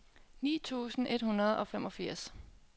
ni tusind et hundrede og femogfirs